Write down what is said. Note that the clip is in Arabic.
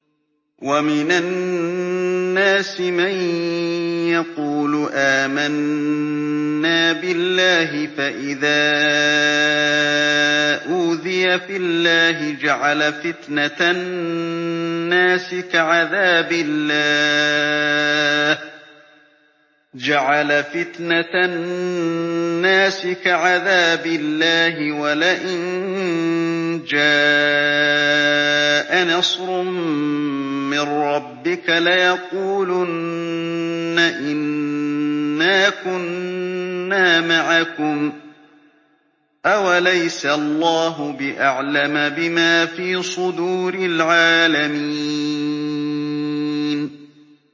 وَمِنَ النَّاسِ مَن يَقُولُ آمَنَّا بِاللَّهِ فَإِذَا أُوذِيَ فِي اللَّهِ جَعَلَ فِتْنَةَ النَّاسِ كَعَذَابِ اللَّهِ وَلَئِن جَاءَ نَصْرٌ مِّن رَّبِّكَ لَيَقُولُنَّ إِنَّا كُنَّا مَعَكُمْ ۚ أَوَلَيْسَ اللَّهُ بِأَعْلَمَ بِمَا فِي صُدُورِ الْعَالَمِينَ